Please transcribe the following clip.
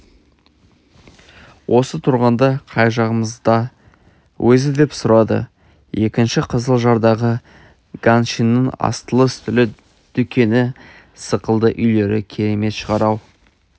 осы тұрғанда қай жағымызда өзі деп сұрады екінші қызылжардағы ганшиннің астылы-үстілі дүкені сықылды үйлері керемет шығар-ау